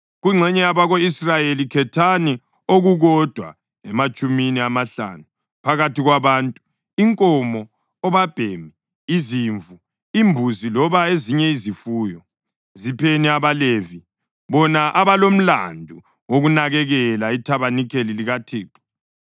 Kungxenye yabako-Israyeli, khethani okukodwa ematshumini amahlanu, phakathi kwabantu, inkomo, obabhemi, izimvu, imbuzi loba ezinye izifuyo. Zipheni abaLevi, bona abalomlandu wokunakekela ithabanikeli likaThixo.”